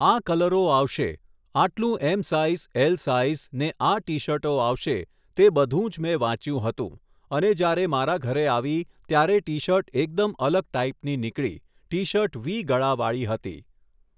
આ કલરો આવશે આટલું ઍમ સાઇઝ ઍલ સાઇઝને આ ટી શર્ટો આવશે તે બધું જ મેં વાચ્યું હતું અને જ્યારે મારા ઘરે આવી ત્યારે ટી શર્ટ એકદમ અલગ ટાઈપની નીકળી ટી શર્ટ વી ગળાવાળી હતી